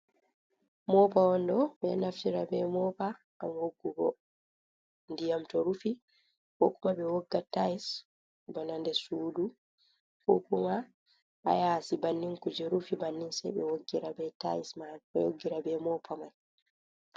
Moopa on ɗo, ɓeɗo naftira be mopa ngam woggugo ndiyam to rufi, kokuma be wogga tayis bana ndessudu, kokuma hayasi bannin kuje rufi bannin se ɓe woggira be tayise majum ɓe woggira be moopa mai.